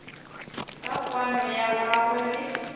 ka kwano ya gagwe le